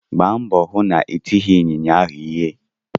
Gba mbọ hụ na itighi ịnyịnya ahụ ịhe!